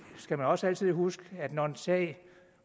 skal også altid huske at når en sag